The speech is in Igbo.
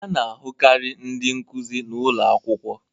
A na-ahụkarị ndị nkuzi n'ụlọ akwụkwọ